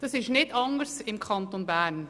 Das ist im Kanton Bern nicht anders.